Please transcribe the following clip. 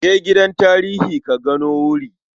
Je gidan tarihi ka gano wuri.